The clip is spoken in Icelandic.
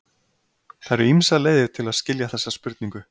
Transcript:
Það eru ýmsar leiðir til að skilja þessa spurningu.